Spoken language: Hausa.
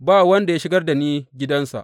Ba wanda ya shigar da ni gidansa.